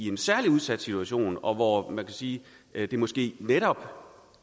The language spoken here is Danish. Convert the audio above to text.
en særlig udsat situation og hvor man kan sige at det måske netop